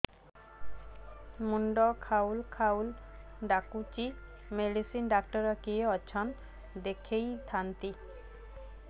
ମୁଣ୍ଡ ଖାଉଲ୍ ଖାଉଲ୍ ଡାକୁଚି ମେଡିସିନ ଡାକ୍ତର କିଏ ଅଛନ୍ ଦେଖେଇ ଥାନ୍ତି